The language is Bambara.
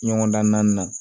Ɲɔgɔndan na